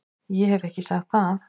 Ég hef ekki sagt það!